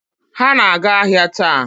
Ha na-aga ahịa taa.